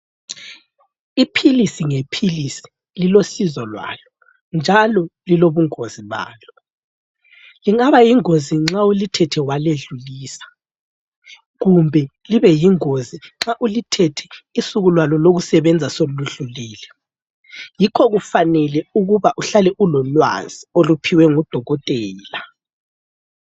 Iphilisi ngephilisi lilosizo lwalo njalo lilobungozi balo. Lingaba yingozi nxa ulithethe waledlulisa kumbe libeyingozi nxa ulithethe usuku lwalo lokusebenza soludlulile yikho kufanele uhlale ulolwazi oluphiwe ngudokotela.